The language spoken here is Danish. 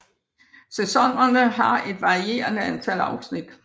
Sæsonerne har et varierende antal afsnit